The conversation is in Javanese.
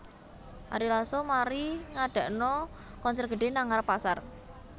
Ari Lasso mari ngadakno konser gedhe nang ngarep pasar